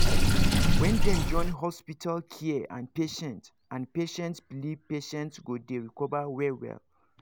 when dem join hospital care and patients and patients belief patients go dey recover well well